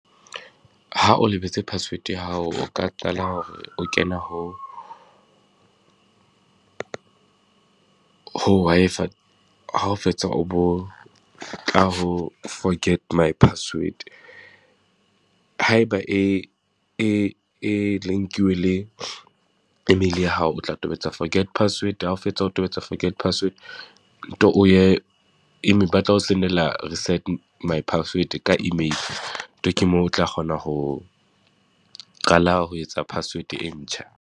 Ha o lebetse password ya hao, o ka qala hore o kena ho, ho Wi-Fi ha o fetsa o bo tla ho forget my password. Ha e ba e e e link-iwe le e-mail ya hao, o tla tobetsa forget password, ha o fetsa o tobetsa forget password, nto o ye ba tla o send-ela reset my password ka e-mail. Nto ke moo o tla kgona ho qala ho etsa password e ntjha.